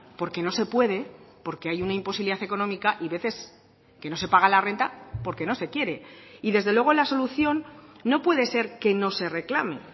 porque no se puede porque hay una imposibilidad económica y veces que no se paga la renta porque no se quiere y desde luego la solución no puede ser que no se reclame